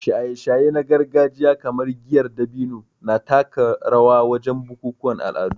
Shaye-shaye na gargajiya kamar giyar dabino na taka rawa wajen bukukuwan al'adu